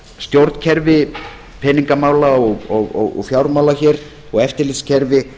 stjórnkerfi peningamála og fjármála hér og eftirlitskerfi